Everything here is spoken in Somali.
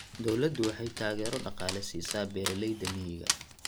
Dawladdu waxay taageero dhaqaale siisaa beeralayda miyiga.